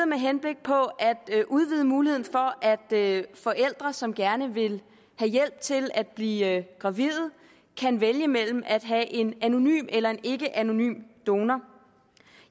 med henblik på at udvide muligheden for at forældre som gerne vil have hjælp til at blive gravide kan vælge mellem at have en anonym eller en ikkeanonym donor